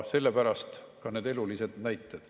Sellepärast ka need elulised näited.